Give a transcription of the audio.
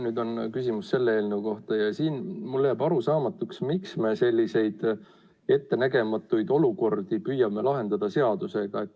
Nüüd on mul küsimus selle eelnõu kohta ja siin mulle jääb arusaamatuks, miks me selliseid ettenägematuid olukordi püüame lahendada seadusega?